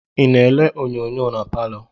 I na-ele onyonyo na palọ?